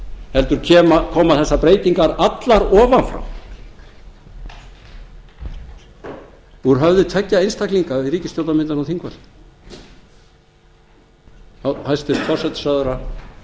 heldur koma þessar breytingar allar ofan frá úr höfði tveggja einstaklinga við ríkisstjórnarmyndun á þingvöllum hæstvirtur forsætisráðherra